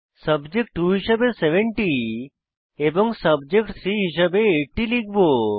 subject 2 হিসাবে 70 এবং subject 3 হিস়াবে 80 লিখব